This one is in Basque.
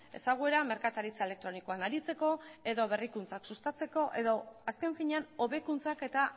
ezaguera merkataritza elektronikoan aritzeko edo berrikuntzak sustatzeko edo azken finean hobekuntzak eta